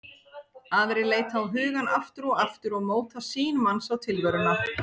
Aðrar leita á hugann aftur og aftur og móta sýn manns á tilveruna.